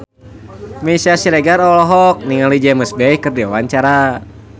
Meisya Siregar olohok ningali James Bay keur diwawancara